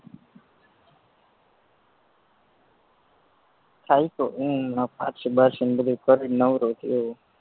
થાયકો પારસી બારસીને બધુય કરીન નવરો થયો હું